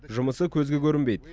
жұмысы көзге көрінбейді